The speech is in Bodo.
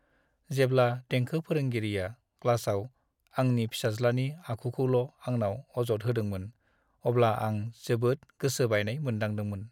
जेब्ला देंखो फोरोंगिरिआ क्लासाव आंनि फिसाज्लानि आखुखौल' आंनाव अजद होदोंमोन, अब्ला आं जोबोद गोसो बायनाय मोनदांदोंमोन।